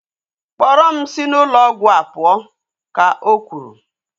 Kpọrọ m si n'ụlọ ọgwụ a pụọ! ka o kwuru